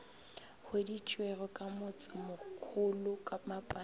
hweditšwego ka motsemokhulu ka mapaing